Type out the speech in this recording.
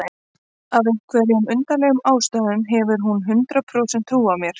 Af einhverjum undarlegum ástæðum hefur hún hundrað prósent trú á mér.